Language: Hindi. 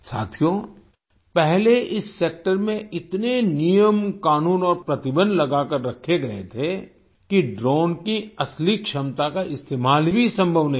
साथियों पहले इस सेक्टर में इतने नियम कानून और प्रतिबंध लगाकर रखे गए थे कि ड्रोन की असली क्षमता का इस्तेमाल भी संभव नहीं था